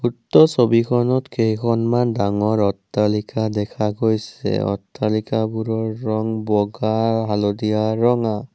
উক্ত ছবিখনত কেইখনমান ডাঙৰ অট্টালিকা দেখা গৈছে অট্টালিকাবোৰৰ ৰং বগা হালধীয়া ৰঙা।